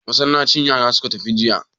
Masallaci yara suka tafi jiya.